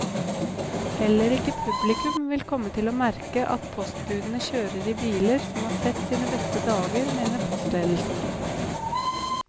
Heller ikke publikum vil komme til å merke at postbudene kjører i biler som har sett sine beste dager, mener postledelsen.